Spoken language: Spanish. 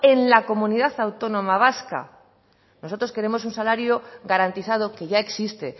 en la comunidad autónoma vasca nosotros queremos un salario garantizado que ya existe